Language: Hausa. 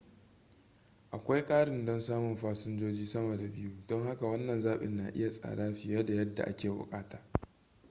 akwai ƙarin don samun fasinjoji sama da 2 don haka wannan zaɓin na iya tsada fiye da yadda ake buƙata